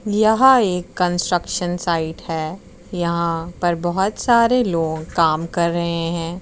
यह एक construction site है यहाँ पर बहोत सारे लोग काम कर रहें है।